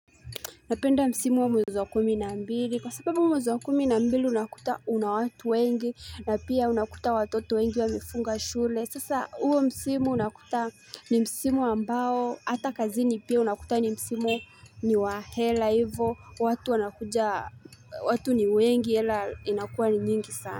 Napenda msimu wa mwezi wa kumi na mbili, kwa sababu mwezi wa kumi na mbili unakuta una watu wengi, na pia unakuta watoto wengi wamefunga shule. Sasa uo msimu unakuta ni msimu ambao, ata kazini pia unakuta ni msimu ni wa hela, hivo, watu wanakuja, watu ni wengi, hela inakuwa ni nyingi sana.